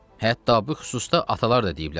Hətta bu xüsusda atalar da deyiblər.